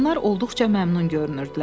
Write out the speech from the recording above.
Onlar olduqca məmnun görünürdülər.